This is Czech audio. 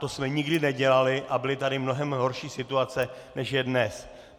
To jsme nikdy nedělali, a byly tady mnohem horší situace než je dnes.